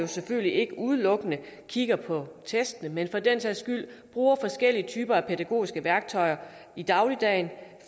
selvfølgelig ikke udelukkende kigger på testene men bruger forskellige typer af pædagogiske værktøjer i dagligdagen